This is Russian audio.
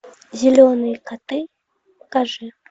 зеленые коты покажи